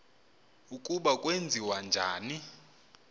ukuba kwenziwa njani